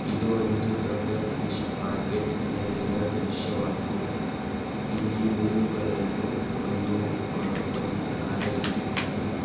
ಇದು ಒಂದು ದೊಡ್ಡ ಫಿಶ್ ಮಾರ್ಕೆಟ್ನಲ್ಲಿನ ದೃಶ್ಯವಾಗಿದೆ. ಇಲ್ಲಿ ಮೀನುಗುಳನ್ನು ಒಂದು ವ ಒಂದು ಪ್ರಕಾರ ಇಟ್ಟಿದ್ದಾರೆ.